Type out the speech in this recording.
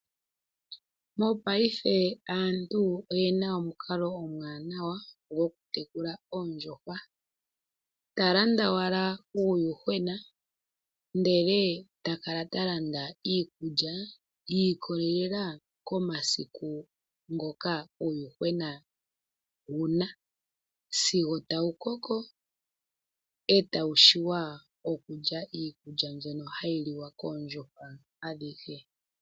Mopaife aantu oyena omukalo omwaanawa gokutekula oondjuhwa. oha landa landa owala uuyuhwena , ndele taka landa iikulya, yiikolela komasiku ngoka uuyuhwena wuna, sigo taukoko, etawu tseya okulya iikulya mbono hayi liwa koondjuhwa adhihe.